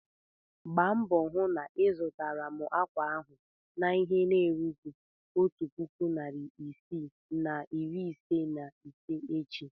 Gba mbo hụ na ịzụtara m akwa ahụ n'ihe na-erughị otu puku naịra isii na iri ise na ise echi!